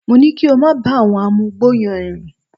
Mo ní kí ó máa bá àwọn amugbó yẹn rìn